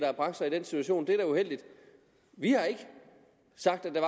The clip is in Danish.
har bragt sig i den situation det er da uheldigt vi har ikke sagt at der